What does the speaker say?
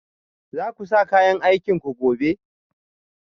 Za ku sa kayan aikinku gobe?